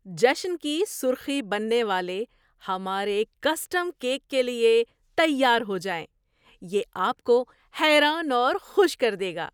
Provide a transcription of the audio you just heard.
جشن کی سرخی بننے والے ہمارے کسٹم کیک کے لیے تیار ہو جائیں، یہ آپ کو حیران اور خوش کر دے گا۔